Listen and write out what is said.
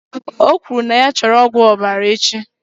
O kwuru na ya chọrọ tonic ọbara echi